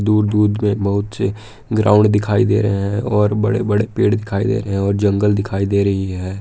दूर दूर में बहुत से ग्राउंड दिखाई दे रहे हैं और बड़े बड़े पेड़ दिखाई दे रहे हैं और जंगल दिखाई दे रही है।